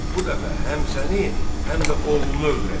Bu dəfə həm səni, həm də oğlunu öldürəcək.